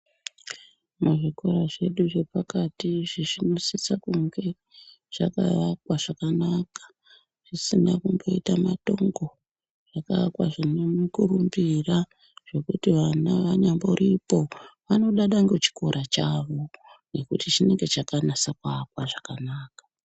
Muzvikira zvedu zvepakati zvinosise kunge zvakaakwa zvakanaka pasina kumboita matongo zvakaakwa zvine mukurumbira zvekuti vana vanyamboripo vanodada ngechikora chavo ngekuti chinenge chakaakwa zvakanaka.